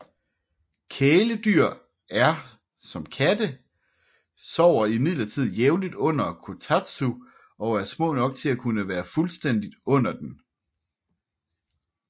Kæledyr så som katte sover imidlertid jævnligt under kotatsu og er små nok til at kunne være fuldstændig under den